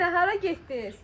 Ay nənə, hara getdiniz?